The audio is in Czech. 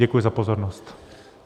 Děkuji za pozornost.